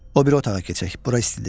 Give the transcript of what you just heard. O biri otağa keçək, bura istidir.